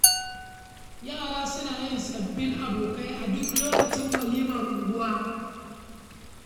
Yara suna yin sababbin abokai a duk lokacin walimar unguwa.